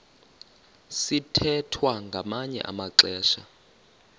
sithwethwa ngamanye amaxesha